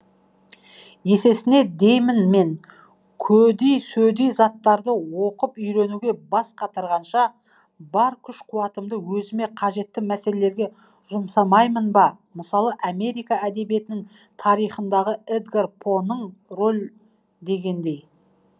есесіне деймін мен көди сөди заттарды оқып үйренуге бас қатырғанша бар күш қуатымды өзіме қажетті мәселелерге жұмсамаймын ба мысалы америка әдебиетінің тарихындағы эдгар поның рол дегендей